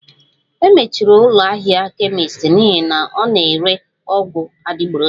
E mechiri ụlọ ahịa kemist n'ihi na ọ na-ere ọgwụ adịgboroja